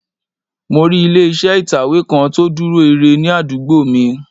Mo rí ilé iṣẹ́ ìtẹ̀wé kan tó dúró ire ní àdúgbò mi